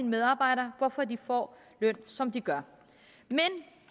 medarbejdere hvorfor de får løn som de gør men